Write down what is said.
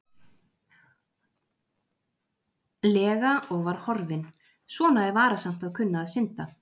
lega og var horfinn, svona er varasamt að kunna að synda.